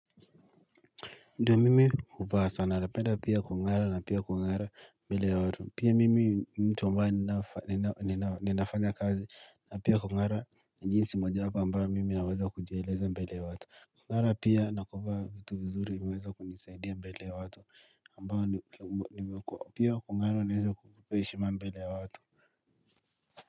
Ndo mimi huvaa sana napenda pia kungara na pia kungara mbele ya watu pia mimi mtumba ninafanya kazi na pia kungara jinsi mojawapo ambayo mimi naweza kujieleza mbele ya watu kungara pia nakuvaa vitu vizuri imeweza kunisaidia mbele watu ambayo pia kungara naweza kuheshima mbele watu.